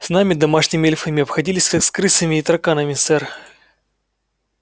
с нами домашними эльфами обходились как с крысами и тараканами сэр